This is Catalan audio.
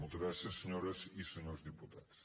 moltes gràcies senyores i senyors diputats